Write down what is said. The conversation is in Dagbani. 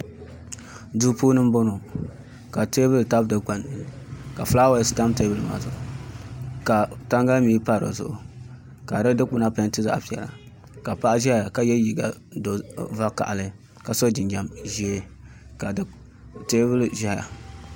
Duu puuni n boŋo ka teebuli tabi dikpuni ka fulaawaasi tam teebuli maa zuɣu ka tangali mii pa di zuɣu ka di dikpuna peenti zaɣ piɛla ka paɣa ʒɛya ka yɛ liiga vakaɣali ka so jinjɛm ʒiɛ ka teebuli ʒɛya